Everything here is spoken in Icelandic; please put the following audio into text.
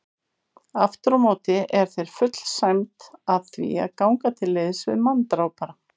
Afturámóti er þér full sæmd að því að ganga til liðs við manndrápara.